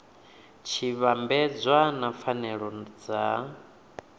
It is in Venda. tshi vhambedzwa na pfanelo dza